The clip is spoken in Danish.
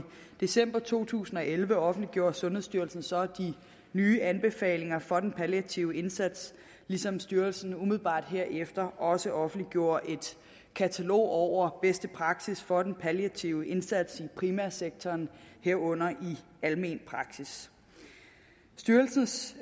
december to tusind og elleve offentliggjorde sundhedsstyrelsen så de nye anbefalinger for den palliative indsats ligesom styrelsen umiddelbart herefter også offentliggjorde et katalog over bedste praksis for den palliative indsats i primærsektoren herunder i almen praksis styrelsens